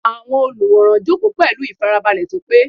Àwọn olùwòran jókòó pẹ̀lú ìfarabalẹ̀ tó pé.